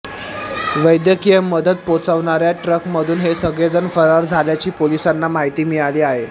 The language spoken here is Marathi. वैद्यकीय मदत पोहचवणाऱ्या ट्रकमधून हे सगळेजण फरार झाल्याची पोलिसांना माहिती मिळाली आहे